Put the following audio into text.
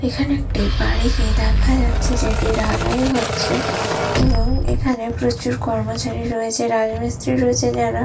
এখানে একটি বাড়ি গিয়ে দেখা যাচ্ছে যেটি ঢালাই হচ্ছে এবং এখানে প্রচুর কর্মচারী রয়েছে রাজমিস্ত্রি রয়েছে যারা।